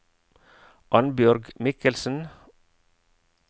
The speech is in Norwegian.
Annbjørg Mikkelsen